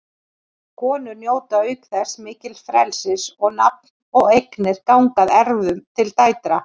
Konur njóta auk þess mikils frelsis og nafn og eignir ganga að erfðum til dætra.